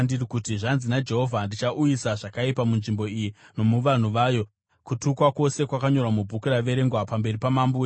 ‘Zvanzi naJehovha: Ndichauyisa zvakaipa munzvimbo iyi nomuvanhu vayo kutukwa kwose kwakanyorwa mubhuku raverengwa pamberi pamambo weJudha.